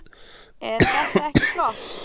Eð þetta ekki flott?